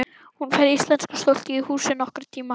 Hún fær íslenska stúlku í húsið nokkurn tíma.